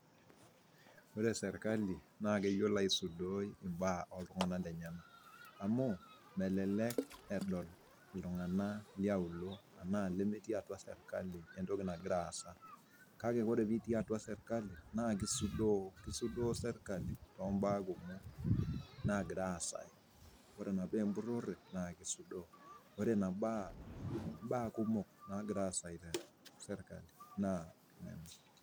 Ore sirkali naa keyolo aisudoi imbaa o ltungana lenyena, amu melelek edol ltungana le aulo anaa lemetii atua sirkali ntoki nagira aasa, kake kore pitii atua sirkali naa kisudoo, kisudoo sirkali too imbaa kumok naagira aasa, kore naapo empurore naa keisudoo, ore naa imbaa kumok naagira aasa te sirkali naa.